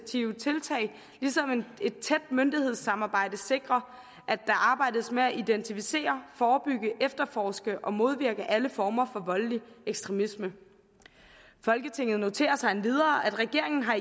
tiltag ligesom et tæt myndighedssamarbejde sikrer at der arbejdes med at identificere forebygge efterforske og modvirke alle former for voldelig ekstremisme folketinget noterer sig endvidere at regeringen har